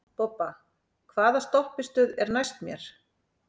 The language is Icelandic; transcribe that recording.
Bobba, hvaða stoppistöð er næst mér?